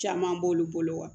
Caman b'olu bolo wa